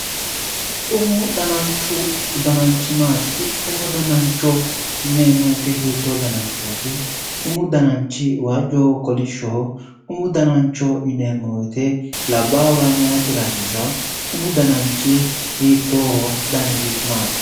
Umu dananchu ,umu dananchi maati, umu danancho yinneemmo woyte hiitto dananchoti ,umu dananchi waajohonso kolishoho ,umu danancho yinneemmo woyte labbahuranso maayetera hasiisano ,umu dananchi hiittoho dannisi maati?